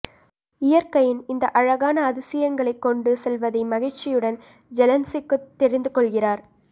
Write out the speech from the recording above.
இயற்கையின் இந்த அழகான அதிசயங்களைக் கொண்டு செல்வதை மகிழ்ச்சியுடன் ஜெலென்சிக்குத் தெரிந்துகொள்கிறார்